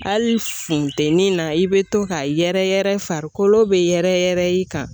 Hali funteni na i be to ka yɛrɛyɛrɛ farikolo be yɛrɛ yɛrɛ i kan.